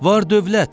Var-dövlət.